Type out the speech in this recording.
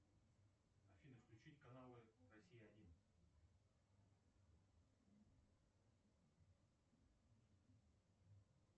афина включить каналы россия один